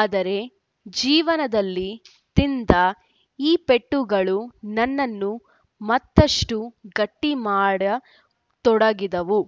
ಆದರೆ ಜೀವನದಲ್ಲಿ ತಿಂದ ಈ ಪೆಟ್ಟುಗಳು ನನ್ನನ್ನು ಮತ್ತಷ್ಟುಗಟ್ಟಿಮಾಡತೊಡಗಿದವು